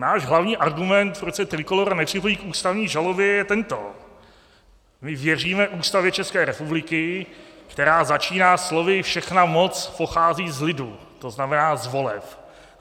Náš hlavní argument, proč se Trikolóra nepřipojí k ústavní žalobě, je tento: My věříme Ústavě České republiky, která začíná slovy "všechna moc pochází z lidu", to znamená z voleb.